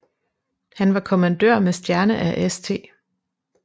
Han var kommandør med stjerne af St